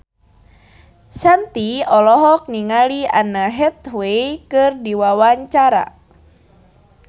Shanti olohok ningali Anne Hathaway keur diwawancara